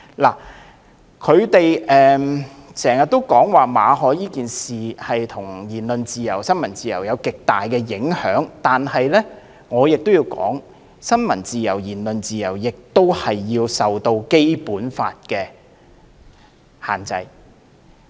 泛民議員經常說馬凱事件對言論自由及新聞自由有極大影響，但我必須指出，新聞自由和言論自由亦須受《基本法》的限制。